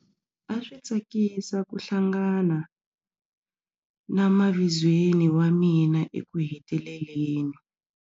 A swi tsakisa ku hlangana na mavizweni wa mina ekuheteleleni.